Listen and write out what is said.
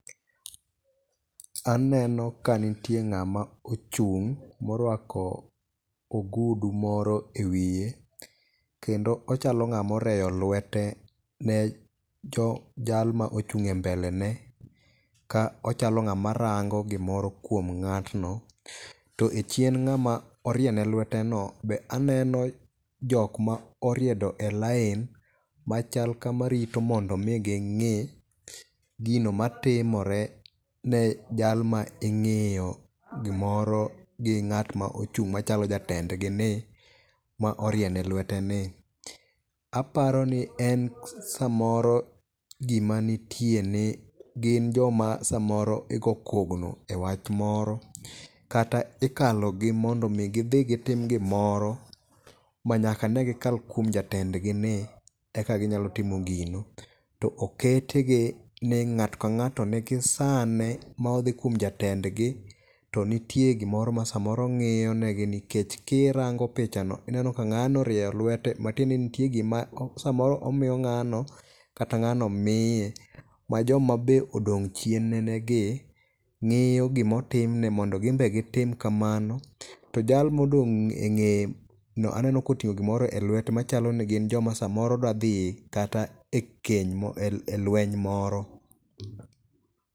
Aneno ka nitie ng'ama ochung' morwako ogudu moro e wiye. Kendo ochalo ng'ama orweyo lwete ne jalma ochung' e mbelene ka ochalo ng'ama rango gimoro kuom ng'atno. To e chien ng'ama orie ne lwete no be aneno jok moriedo e lain machal ka marito mondo omi ging'i gino matimore ne jalma ing'iyo gimoro gi ng'at ma ochung' machalo jatendgi ni mo orie nelwete ni. Aparo ni e samoro gimanitie ni gin joma samoro igo kogno e wach moro. Kata ikalo gi mondo mi gidhi gitim gimoro ma nyaka ne gikal kuom jatend gi ni eka ginyalo timo gino. To oketgi ni ng'ato ka ng'ato ni gi sane ma odhi kuom jatendgi to nitie gimoro ma samoro ng'iyonegi nikech kirango pichano ineno ka ng'ano orieyo lwete matiende ni nitie gima samoro omiyo ng'ano kata ng'ano miye ma joma be odong' chien ne gi ng'iyo gimotimne mondo gimbe gitim kamano. To jal modong' e ng'eye no aneno koting'o gimoro e lwete machalo ni gin joma samoro dwa dhi kata e keny e lweny moro.